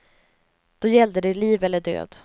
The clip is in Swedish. Då gällde det liv eller död.